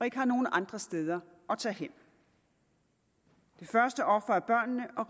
ikke har nogen andre steder at tage hen det første offer er børnene og